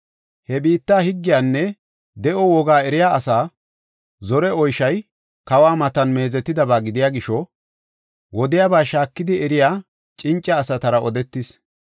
He biitta higgiyanne de7o wogaa eriya asaa zore oyshoy kawa matan meezetidaba gidiya gisho, wodiyaba shaakidi eriya cinca asatara odetis.